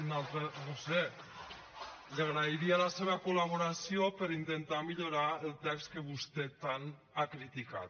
no ho sé li agrairia la seva col·laboració per intentar millorar el text que vostè tant ha criticat